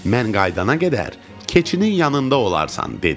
Mən qayıdana qədər keçinin yanında olarsan dedi.